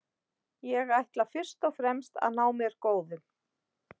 Ég ætla fyrst og fremst að ná mér góðum.